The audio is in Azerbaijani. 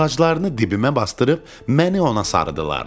Ağaclarını dibimə basdırıb məni ona sarıdılar.